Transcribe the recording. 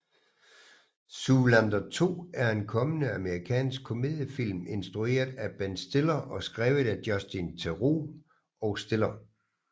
Zoolander 2 er en kommende amerikansk komediefilm instrueret af Ben Stiller og skrevet af Justin Theroux og Stiller